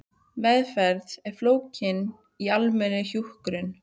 Meðferð er fólgin í almennri hjúkrun.